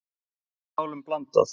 Hér er málum blandað.